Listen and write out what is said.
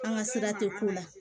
An ka sira tɛ k'u la